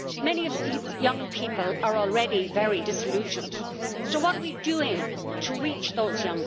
Many of these young people are already very disillusioned. So what are we doing to reach them?